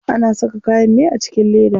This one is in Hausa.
Ana saka kayan ne a cikin leda.